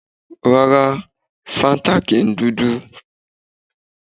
Rárá, fáńtà kì í dúdú